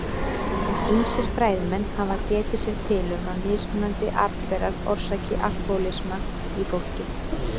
Ýmsir fræðimenn hafa getið sér til um að mismunandi arfberar orsaki alkóhólisma í fólki.